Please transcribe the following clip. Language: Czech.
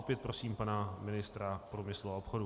Opět prosím pana ministra průmyslu a obchodu.